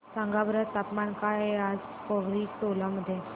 सांगा बरं तापमान काय आहे आज पोवरी टोला मध्ये